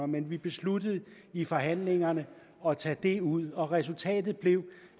men vi besluttede i forhandlingerne at tage det ud og resultatet blev